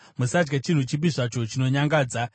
Musadya chinhu chipi zvacho chinonyangadza.